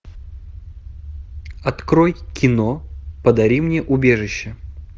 открой кино подари мне убежище